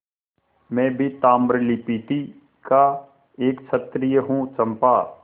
मैं भी ताम्रलिप्ति का एक क्षत्रिय हूँ चंपा